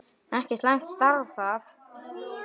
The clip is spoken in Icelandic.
Ekki slæmt starf það!